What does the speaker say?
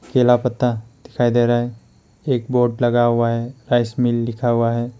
केला पत्ता दिखाई दे रहा है एक बोर्ड लगा हुआ है राइस मिल लिखा हुआ है।